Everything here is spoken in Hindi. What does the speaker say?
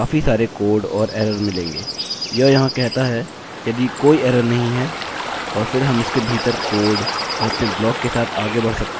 यह यहाँ कहता है यदि कोई एरर नहीं हैं और फिर हम इसके भीतर कोड और अपने ब्लाक के साथ आगे बढ़ सकते हैं